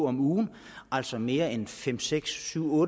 om ugen altså mere end fem seks syv